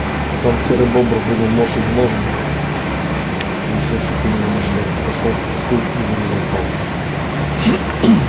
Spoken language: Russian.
потом серый бобр вынул нож из ножен висевших у него на шее подошёл к кусту и вырезал палку